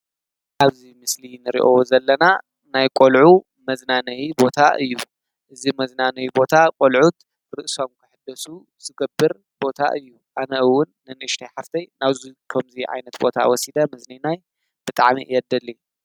ኣብዚ ምስሊ ንሪኦ ዘለና ናይ ቆልዑ መዝናነይ ቦታ እዩ፡፡ እዚ መዝናነይ ቦታ ቆልዑት ርእሶም ንክሕደሱ ዝገብር ቦታ እዩ፡፡ ኣነ እውን ንኑእሽተይ ሓፍተይ ናብዚ ከምዚ ዓይነት ቦታ ወሲደ ምዝንናይ ብጣዕሚ እየ ዝደሊ፡፡